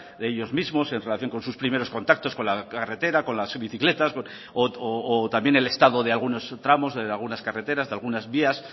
de ellos mismos en relación con sus primeros contactos con la carretera con las bicicletas o también el estado de algunos tramos de algunas carreteras de algunas vías